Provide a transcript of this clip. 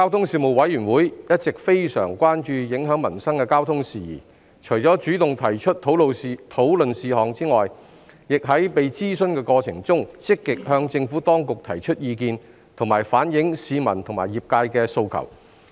事務委員會一直非常關注影響民生的交通事宜，除主動提出討論事項外，亦在被諮詢的過程中，積極向政府當局提出意見，以及反映市民和業界的訴求。